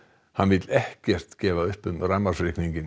hann vill ekkert gefa upp um rafmagnsreikninginn